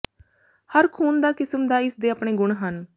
ਹਰ ਖੂਨ ਦਾ ਕਿਸਮ ਦਾ ਇਸ ਦੇ ਆਪਣੇ ਗੁਣ ਹਨ